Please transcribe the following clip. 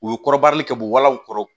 U ye kɔrɔbarili kɛ bu walanw kɔrɔ